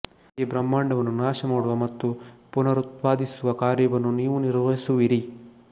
ಈ ಬ್ರಹ್ಮಾಂಡವನ್ನು ನಾಶಮಾಡುವ ಮತ್ತು ಪುನರುತ್ಪಾದಿಸುವ ಕಾರ್ಯವನ್ನು ನೀವು ನಿರ್ವಹಿಸುವಿರಿ